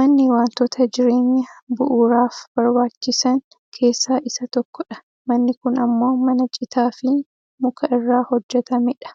manni wantoota jireenya bu'uuraaf barbaachisan keessaa isa tokkodha manni kun ammoo mana citaafi muka irraa hojjatamedha.